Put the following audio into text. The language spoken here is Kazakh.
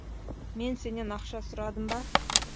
мен сенен ақша сұрадым ба